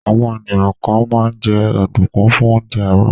Àwọn ènìyàn kan máa ń jẹ ọ̀dùnkún fún oúnjẹ àárọ̀.